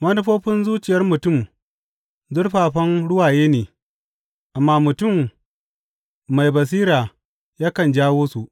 Manufofin zuciyar mutum zurfafan ruwaye ne, amma mutum mai basira yakan jawo su.